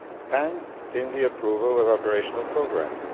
and in the approval of operational programmes.